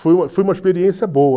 Foi uma foi uma experiência boa.